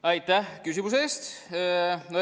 Aitäh küsimuse eest!